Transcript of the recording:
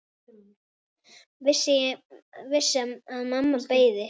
Vissi að mamma beið.